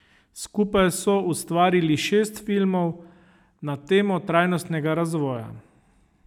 Skupaj so ustvarili šest filmov na temo trajnostnega razvoja.